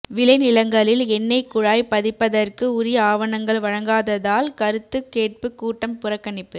விளை நிலங்களில் எண்ணெய் குழாய் பதிப்பதற்கு உரிய ஆவணங்கள் வழங்காததால் கருத்து கேட்பு கூட்டம் புறக்கணிப்பு